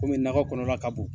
Kɔmi nakɔ kɔnɔna ka bon.